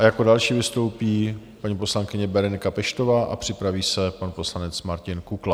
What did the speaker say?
A jako další vystoupí paní poslankyně Berenika Peštová a připraví se pan poslanec Martin Kukla.